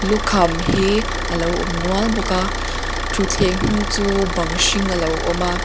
lukham hi a lo awm nual bawk a thuthleng hnung chu bang hring a lo awm a.